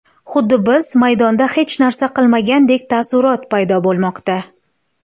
Xuddi biz maydonda hech narsa qilmagandek taassurot paydo bo‘lmoqda.